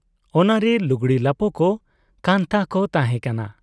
ᱚᱱᱟ ᱨᱮ ᱞᱩᱜᱽᱲᱤ ᱞᱟᱯᱚ ᱠᱚ, ᱠᱟᱱᱛᱦᱟ ᱠᱚ ᱛᱟᱦᱮᱸ ᱠᱟᱱᱟ ᱾